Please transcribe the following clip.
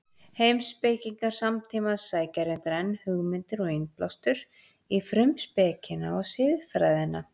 Heimspekingar samtímans sækja reyndar enn hugmyndir og innblástur í Frumspekina og Siðfræðina.